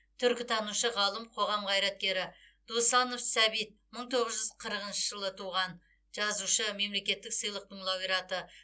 түркітанушы ғалым қоғам қайраткері досанов сәбит мың тоғыз жүз қырықыншы жылы туған жазушы мемлекеттік сыйлықтың лауреаты